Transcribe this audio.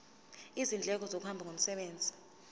izindleko zokuhamba ngomsebenzi